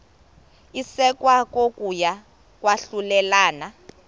isekwa kokuya kwahlulelana